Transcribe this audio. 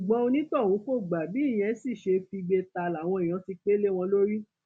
ṣùgbọn onítọhún kò gbà bí ìyẹn sì ṣe figbe ta làwọn èèyàn ti pẹ lé wọn lórí